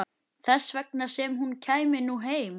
Þess vegna sem hún kæmi nú heim.